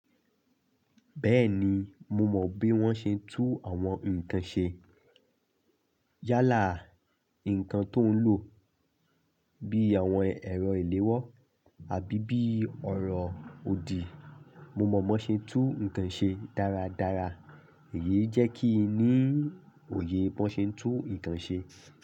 Bẹ́ẹ̀ni, mo mọ bí wọ́n ṣe ń tún àwọn nǹkan ṣe. Yálà, nǹkan tó ń lò bí àwọn ẹ̀rọ ìléwọ́ àbí bí ọ̀rọ̀ òdì, mo mọ bí wọ́n ṣe ń tún nǹkan ṣe dáradára. Èyí jẹ́ kí n ní òye bí wọ́n ṣe ń tún nǹkan ṣe.